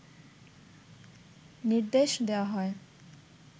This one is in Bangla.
নির্দেশ দেওয়া হয়